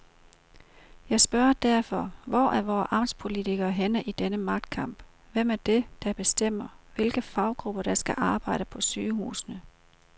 Jeg spørger derfor, hvor er vore amtspolitikere henne i denne magtkamp, hvem er det, der bestemmer, hvilke faggrupper der skal arbejde på sygehusene.